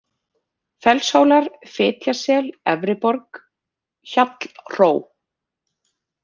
Fellshólar, Fitjasel, Efriborg, Hjallhró